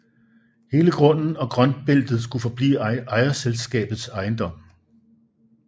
Hele grunden og grøntbeltet skulle forblive ejerselskabets ejendom